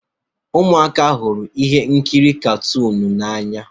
Ụmụaka hụrụ ihe nkiri katuunu n'anya